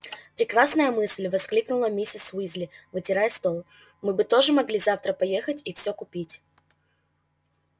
прекрасная мысль воскликнула миссис уизли вытирая стол мы бы тоже могли завтра поехать и все купить